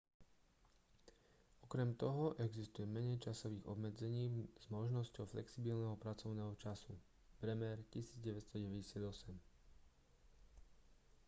okrem toho existuje menej časových obmedzení s možnosťou flexibilného pracovného času. bremer 1998